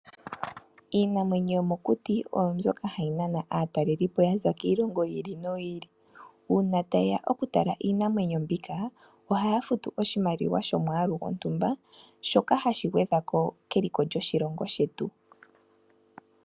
Iinamwenyo yomokuti oyo mbyoka hayi nana aatalelipo ya za kiilongo yiili no yiili uuna taye ya okutala iinanwenyo mbika ohaya futu oshimaliwa shomwaalu gontumba shoka hashi gwedhako keliko lyoshilongo shetu.